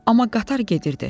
Amma qatar gedirdi.